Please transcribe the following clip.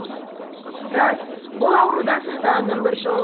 рас бұл аурудан сақтанудың бір жолы